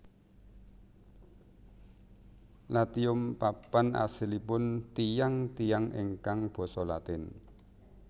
Latium papan asalipun tiyang tiyang ingkang basa Latin